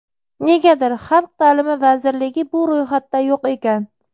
negadir Xalq taʼlimi vazirligi bu ro‘yxatda yo‘q ekan.